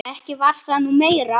Ekki var það nú meira.